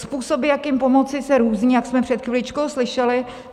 Způsoby, jak pomoci, se různí, jak jsme před chviličkou slyšeli.